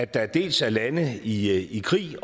der dels er lande i i krig